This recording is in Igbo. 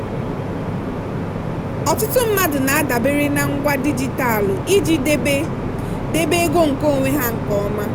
ọtụtụ mmadụ na-adabere na ngwa dijitalụ iji debe debe ego nkeonwe ha nke ọma.